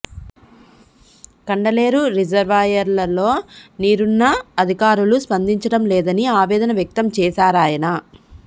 కండలేరు రిజర్వాయర్లో నీరున్నా అధికారులు స్పందించడం లేదని ఆవేదన వ్యక్తం చేశారాయన